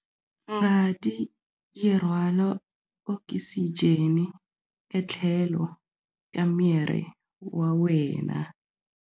Ngati yi rhwala okisijeni etlhelo ka miri wa wena.